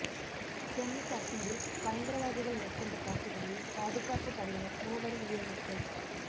ஜம்மு காஷ்மீரில் பயங்கரவாதிகள் மேற்கொண்ட தாக்குதலில் பாதுகாப்பு படையினர் மூவர் உயிரிழப்பு